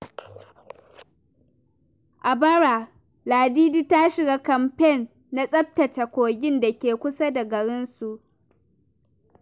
A bara, Ladidi ta shiga kamfen na tsaftace kogin da ke kusa da garinsu.